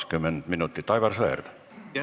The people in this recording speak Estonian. Aitäh, austatud juhataja!